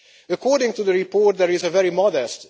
According to the report, there was a very modest